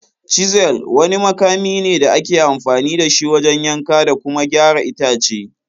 "Chisel" wani makami ne da ake amfani da shi wajen yanka da kuma gyara itace.